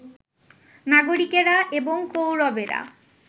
নাগরিকেরা, এবং কৌরবেরা